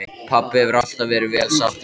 Pabbi hefur alltaf verið vel sáttur við hann.